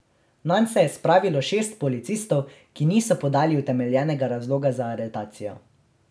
Nanj se je spravilo šest policistov, ki niso podali utemeljenega razloga za aretacijo.